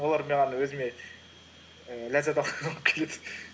олар маған өзіме ііі ләззат келеді